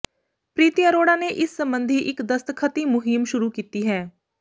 ਪ੍ਰੀਤੀ ਅਰੋੜਾ ਨੇ ਇਸ ਸਬੰਧੀ ਇਕ ਦਸਤਖ਼ਤੀ ਮਹਿੰਮ ਸ਼ੁਰੂ ਕੀਤੀ ਹੈ